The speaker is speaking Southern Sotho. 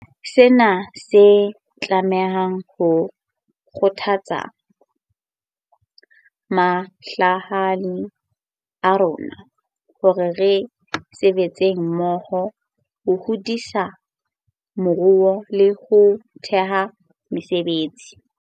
Sena se tlameha ho kgothatsa mahlahana a rona hore re sebetseng mmoho ho hodisa moruo le ho theha mesebetsi.